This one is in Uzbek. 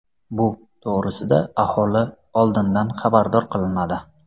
Bu to‘g‘risida aholi oldindan xabardor qilinadi.